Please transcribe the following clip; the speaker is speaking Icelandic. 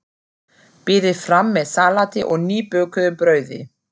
Berið fram með salati og nýbökuðu brauði.